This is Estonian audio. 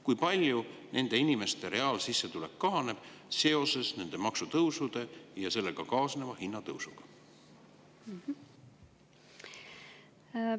Kui palju nende inimeste reaalsissetulek kahaneb seoses nende maksutõusude ja sellega kaasneva hinnatõusuga?